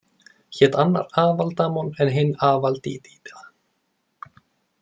Hét annar Avaldamon en hinn Avaldidida.